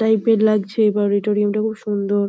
Type এর লাগছে auditorium খুব সুন্দর।